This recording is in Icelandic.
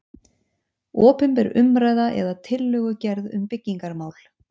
Opinber umræða eða tillögugerð um byggingarmál